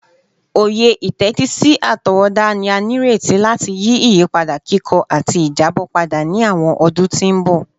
Oye itetisi atọwọda ni a nireti lati yi iyipada kikọ ati ijabọ pada ni awọn ọdun ti n bọ